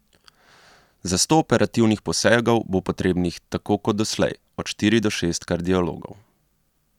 Za sto operativnih posegov bo potrebnih tako kot doslej, od štiri do šest kardiologov.